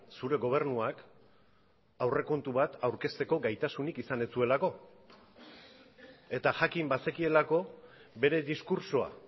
zure gobernuak aurrekontu bat aurkezteko gaitasunik izan ez zuelako eta jakin bazekielako bere diskurtsoa